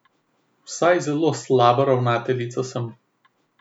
Vsaj zelo slaba prijateljica sem.